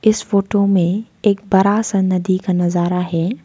इस फोटो में एक बड़ा सा नदी का नजारा है।